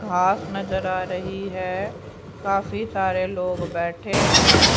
घास नजर आ रही है काफी सारे लोग बैठे हैं।